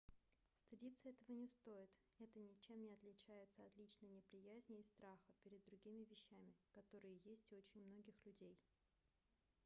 стыдиться этого не стоит это ничем не отличается от личной неприязни и страха перед другими вещами которые есть у очень многих людей